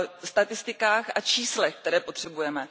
statistikách a číslech, které potřebujeme.